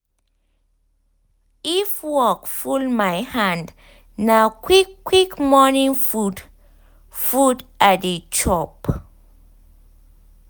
if work full my hand na quick quick morning food food i dey chop